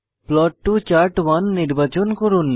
plot to chart নির্বাচন করুন